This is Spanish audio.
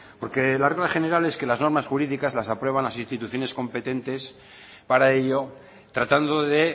porque la regla general es que las normas jurídicas las aprueban las instituciones competentes para ello tratando de